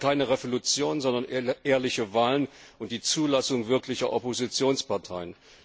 Sie wollen keine Revolution, sondern ehrliche Wahlen und die Zulassung wirklicher Oppositionsparteien.